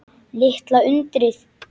Litla undrið.